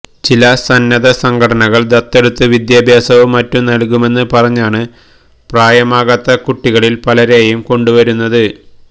ചില സന്നദ്ധ സംഘടനകള് ദത്തെടുത്ത് വിദ്യാഭ്യാസവും മറ്റും നല്കുമെന്ന് പറഞ്ഞാണ് പ്രായമാകാത്ത കുട്ടികളില് പലരെയും കൊണ്ടുവരുന്നത്